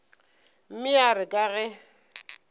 mme ya re ka ge